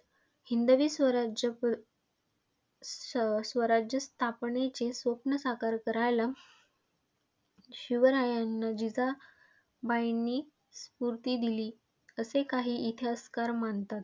हिंदवी स्वराज्य सस्वराज्य स्थापनेचे स्वप्न साकार करायला शिवरायांना जिजाबाईंनी स्फूर्ती दिली, असे काही इतिहासकार मानतात.